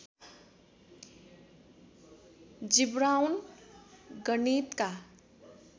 जिब्राउन गणितका